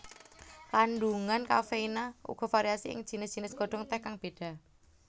Kandungan kafeina uga variasi ing jinis jinis godhong teh kang beda